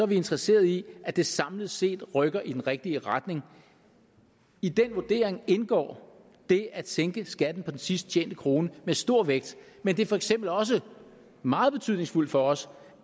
vi interesserede i at det samlet set rykker i den rigtige retning i den vurdering indgår det at sænke skatten på den sidst tjente krone med stor vægt men det er for eksempel også meget betydningsfuldt for os